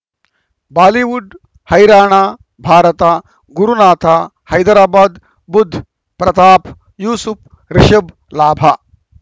Bollywood ಹೈರಾಣ ಭಾರತ ಗುರುನಾಥ ಹೈದರಾಬಾದ್ ಬುಧ್ ಪ್ರತಾಪ್ ಯೂಸುಫ್ ರಿಷಬ್ ಲಾಭ